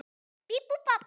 Ha, veistu það?